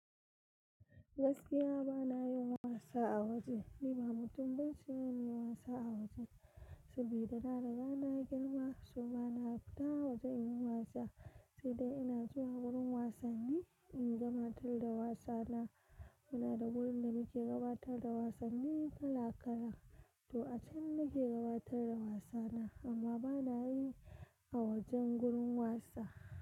Gaskiya ba na yin wasa a waje. Ni ba mutum ne ban so yin wasa a waje. Sabida na raba na girma, so ba na fita waje in yi wasa. Sai dai ina zuwa wurin wasanni in gabatar da wasana. Muna da wurin da muke gabatar da wasanni kala kala. To a can nake gabatar da wasana amma ba na yi a wajen gurin wasa.